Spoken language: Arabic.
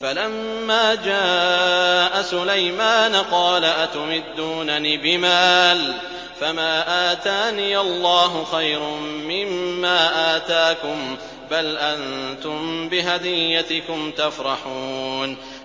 فَلَمَّا جَاءَ سُلَيْمَانَ قَالَ أَتُمِدُّونَنِ بِمَالٍ فَمَا آتَانِيَ اللَّهُ خَيْرٌ مِّمَّا آتَاكُم بَلْ أَنتُم بِهَدِيَّتِكُمْ تَفْرَحُونَ